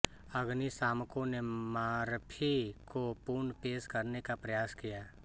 अग्निशामकों ने मर्फी को पुन पेश करने का प्रयास किया